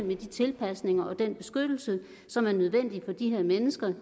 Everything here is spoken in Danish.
de tilpasninger og den beskyttelse som er nødvendig for de her mennesker